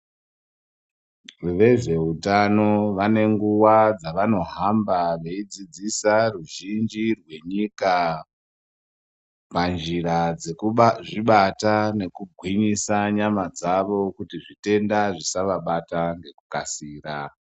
Vezvehutano vane nguva dzavanohamba veidzidzisa veruzhinji rwenyika panjira dzekuzvibata nekugwinyisa nyama dzavo kuti zvitenda zvisavabata nekukasira.